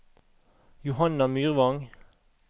Johanna Myrvang